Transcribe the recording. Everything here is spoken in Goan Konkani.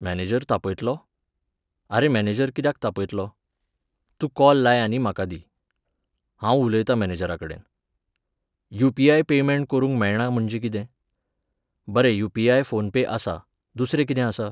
मॅनेजर तापयतलो? आरे, मॅनेजर कित्याक तापयतलो? तूं कॉल लाय आनी म्हाका दी. हांव उलयता मॅनेजराकडेन. युपीआयन पेयमँट करूंक मेळना म्हणजे कितें? बरें युपीआय फोन पे आसा, दुसरें कितें आसा?